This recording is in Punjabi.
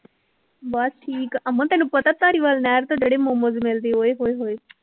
ਬਸ ਠੀਕ ਅਮਨ ਤੈਨੂੰ ਪਤਾ ਧਾਰੀਵਾਲ ਨਹਿਰ ਤੇ ਜਿਹੜੇ ਮੋਮੋਸ ਮਿਲਦੇ ਓਏ ਹੋਏ ਹੋਏ